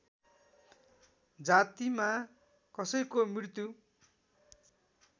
जातिमा कसैको मृत्यु